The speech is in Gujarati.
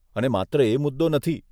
અને માત્ર એ મુદ્દો નથી.